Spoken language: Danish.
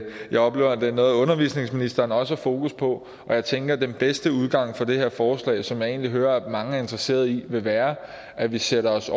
jeg oplever at det er noget undervisningsministeren også har fokus på og jeg tænker at den bedste udgang for det her forslag som jeg egentlig hører at mange er interesseret i vil være at vi sætter os